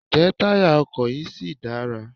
Ǹjẹ́ táyà ọkọ̀ yí ṣì dára?